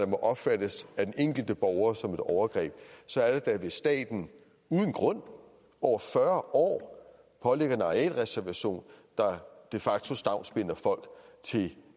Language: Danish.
må opfattes af den enkelte borger som et overgreb så er det da hvis staten uden grund over fyrre år pålægger en arealreservation der de facto stavnsbinder folk